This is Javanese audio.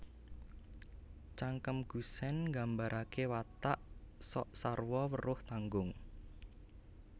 Cangkem Gusèn Nggambaraké watak sok sarwa weruh tanggung